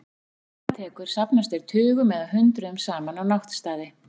Þegar dimma tekur safnast þeir tugum eða hundruðum saman á náttstaði.